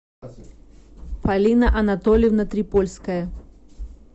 полина анатольевна трипольская